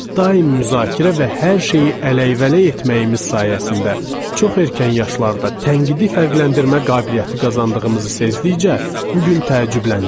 Daim müzakirə və hər şeyi ələyvələy etməyimiz sayəsində çox erkən yaşlarda tənqidi fərqləndirmə qabiliyyəti qazandığımızı sezdtikcə bu gün təəccüblənirəm.